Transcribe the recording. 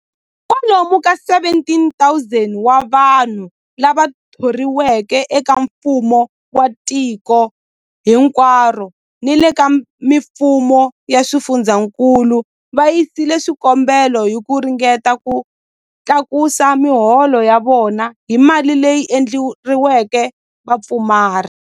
Kwalomu ka 17,000 wa vanhu lava thoriweke eka mfumo wa tiko hinkwaro ni le ka mifumo ya swifundzankulu va yisile swikombelo hi ku ringeta ku tlakusa miholo ya vona hi mali leyi endleriweke vapfumari.